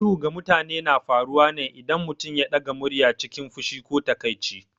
Ihu ga mutane na faruwa ne idan mutum ya ɗaga murya cikin fushi ko takaici.